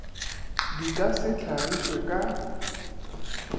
di ka se hlagišwe ka